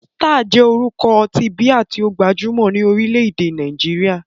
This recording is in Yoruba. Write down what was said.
Star jẹ́ orúkọ ọtí bíà tí ó gbajúmọ̀ ní orílẹ̀-èdè Nàìjíríà.